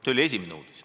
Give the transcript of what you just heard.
" See oli esimene uudis.